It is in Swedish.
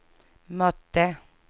mötte